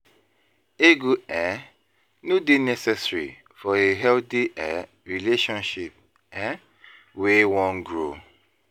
e no go dey necessary for a healthy relationship wey wan grow